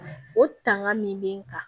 O tangan min bɛ n kan